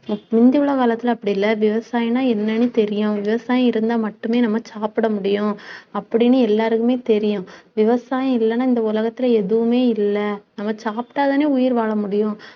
முந்தி உள்ள காலத்தில அப்படி இல்ல. விவசாயம்ன்னா என்னன்னு தெரியும். விவசாயம் இருந்தா மட்டுமே நம்ம சாப்பிட முடியும் அப்படின்னு எல்லாருக்குமே தெரியும். விவசாயம் இல்லைன்னா இந்த உலகத்திலே எதுவுமே இல்லை. நம்ம சாப்பிட்டாதானே உயிர் வாழ முடியும்